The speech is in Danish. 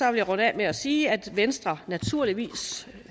jeg runde af med at sige at venstre naturligvis